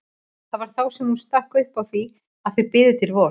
Það var þá sem hún stakk upp á því að þau biðu til vors.